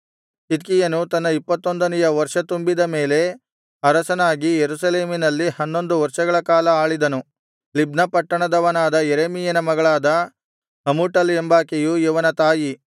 ಚಿದ್ಕೀಯನು ತನ್ನ ಇಪ್ಪತ್ತೊಂದನೆಯ ವರ್ಷ ತುಂಬಿದ ಮೇಲೆ ಅರಸನಾಗಿ ಯೆರೂಸಲೇಮಿನಲ್ಲಿ ಹನ್ನೊಂದು ವರ್ಷಗಳ ಕಾಲ ಆಳಿದನು ಲಿಬ್ನ ಪಟ್ಟಣದವನಾದ ಯೆರೆಮೀಯನ ಮಗಳಾದ ಹಮೂಟಲ್ ಎಂಬಾಕೆಯು ಇವನ ತಾಯಿ